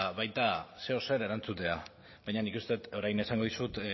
baita zeozer erantzutea baina nik uste dut orain esango dizut